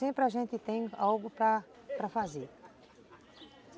Sempre a gente tem algo para para fazer.